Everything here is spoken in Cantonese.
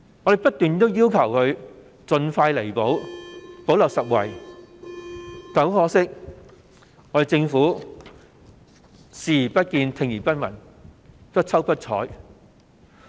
我們不斷要求當局盡快作出彌補，補漏拾遺，但很可惜，政府對此視而不見，聽而不聞，不瞅不睬。